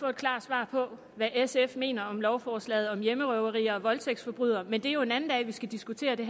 få et klart svar på hvad sf mener om lovforslaget om hjemmerøverier og voldtægtsforbrydere men det er jo en anden dag vi skal diskutere det